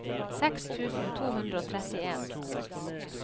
seks tusen to hundre og trettien